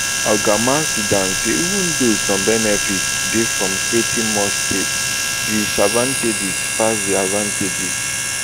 oga maisudan say even though some benefits dey from creating more states di disadvantages pass di advantages